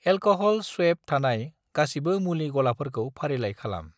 Alcohol swab थानाय गासिबो मुलि गलाफोरखौ फारिलाइ खालाम।